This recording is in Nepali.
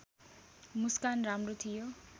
मुस्कान राम्रो थियो